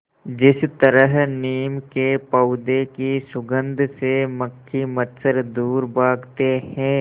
जिस तरह नीम के पौधे की सुगंध से मक्खी मच्छर दूर भागते हैं